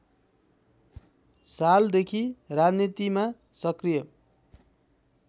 सालदेखि राजनीतिमा सक्रिय